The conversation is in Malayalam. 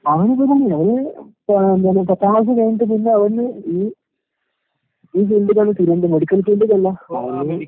അവനെന്താ പറഞ്ഞില്ലേ അവന് പ എന്താണ് പത്താം ക്ലാസ് കഴിഞ്ഞിട്ട് പിന്നവന് ഈ ഈ ഫീൽഡിലാണ് മെഡിക്കൽ ഫീൽഡിലല്ല.